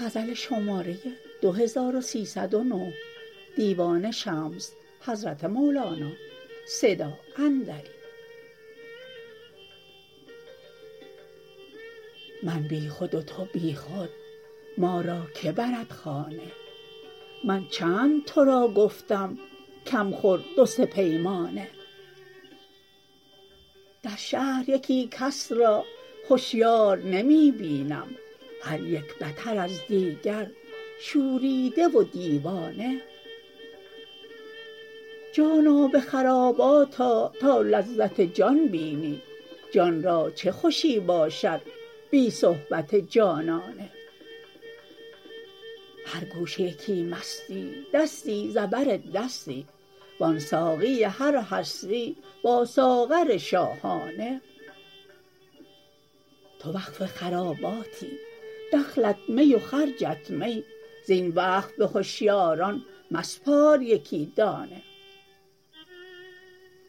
من بی خود و تو بی خود ما را که برد خانه من چند تو را گفتم کم خور دو سه پیمانه در شهر یکی کس را هشیار نمی بینم هر یک بتر از دیگر شوریده و دیوانه جانا به خرابات آ تا لذت جان بینی جان را چه خوشی باشد بی صحبت جانانه هر گوشه یکی مستی دستی ز بر دستی وان ساقی هر هستی با ساغر شاهانه تو وقف خراباتی دخلت می و خرجت می زین وقف به هشیاران مسپار یکی دانه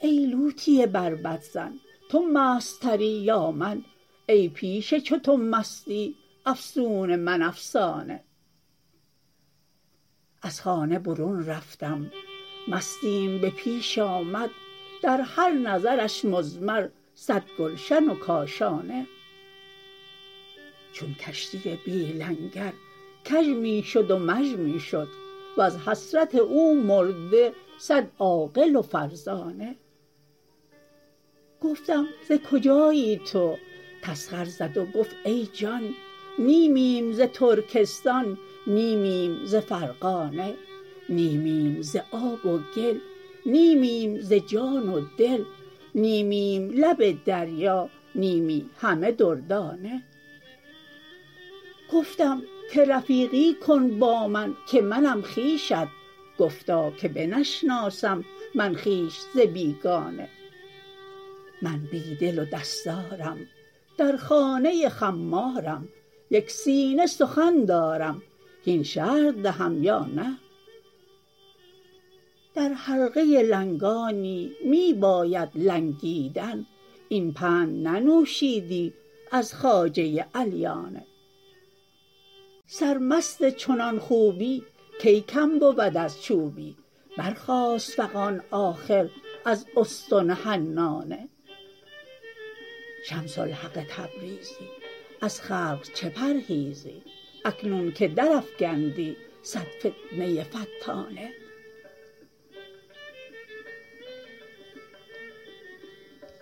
ای لولی بربط زن تو مست تری یا من ای پیش چو تو مستی افسون من افسانه از خانه برون رفتم مستیم به پیش آمد در هر نظرش مضمر صد گلشن و کاشانه چون کشتی بی لنگر کژ می شد و مژ می شد وز حسرت او مرده صد عاقل و فرزانه گفتم ز کجایی تو تسخر زد و گفت ای جان نیمیم ز ترکستان نیمیم ز فرغانه نیمیم ز آب و گل نیمیم ز جان و دل نیمیم لب دریا نیمی همه دردانه گفتم که رفیقی کن با من که منم خویشت گفتا که بنشناسم من خویش ز بیگانه من بی دل و دستارم در خانه خمارم یک سینه سخن دارم هین شرح دهم یا نه در حلقه لنگانی می بایدت لنگیدن این پند ننوشیدی از خواجه علیانه سرمست چنان خوبی کی کم بود از چوبی برخاست فغان آخر از استن حنانه شمس الحق تبریزی از خلق چه پرهیزی اکنون که درافکندی صد فتنه فتانه